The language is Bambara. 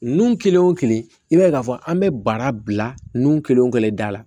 Nun kelen o kelen i b'a ye k'a fɔ an bɛ baara bila nun kelen o kelen kelen da la